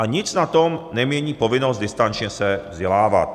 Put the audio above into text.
A nic na tom nemění povinnost distančně se vzdělávat.